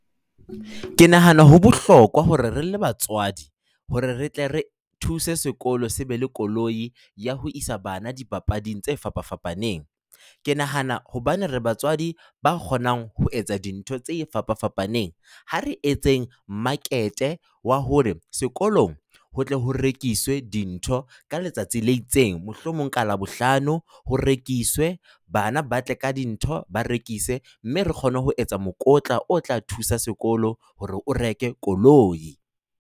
Ke nahana ho bohlokwa hore re le batswadi hore re tle re thuse sekolo se be le koloi ya ho isa bana dipapading tse fapafapaneng. Ke nahana hobane re batswadi ba kgonang ho etsa dintho tse fapafapaneng, ha re etseng market wa hore sekolong ho tle ho rekiswe dintho ka letsatsi le itseng, mohlomong ka Labohlano ho rekiswe, bana ba tle ka dintho ba rekise, mme re kgone ho etsa mokotla o tla thusa sekolo hore o reke koloi.